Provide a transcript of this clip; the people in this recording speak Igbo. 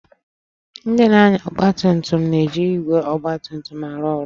Ndị na-anya ọgba tum tum na-eji igwe ọgba tum tum arụ ọrụ